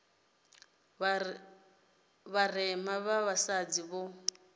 vha vharema vha vhasadzi vho